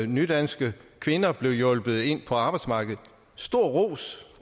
nydanske kvinder blev hjulpet ind på arbejdsmarkedet og stor ros